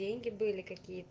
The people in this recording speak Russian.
деньги были какие то